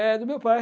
É do meu pai.